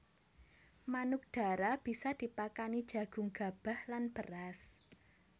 Manuk dara bisa dipakani jagung gabah lan beras